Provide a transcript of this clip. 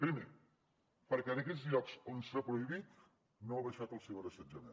primer perquè en aquells llocs on s’ha prohibit no ha baixat el ciberassetjament